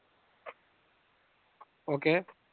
ok